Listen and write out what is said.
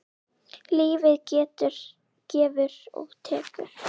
Lífið gefur og tekur.